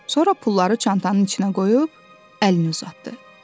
Sonra pulları çantanın içinə qoyub əlini uzatdı.